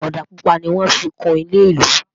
òdà pupa ní wọn fí kún ilé ìlú